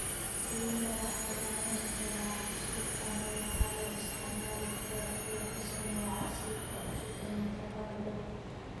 Liinta waxaa la cuni karaa cusub ama waxaa loo isticmaali karaa in lagu sameeyo casiirka cusub ee nafaqada leh.